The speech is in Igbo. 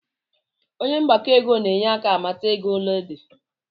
Onye mgbakọ ego na-enye aka amata ego ole ego di